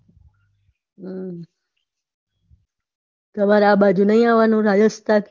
તામર આ બાજુ નાઈ આવાનું રાજસ્થાન?